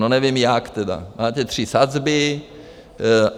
No nevím, jak tedy, máte tři sazby.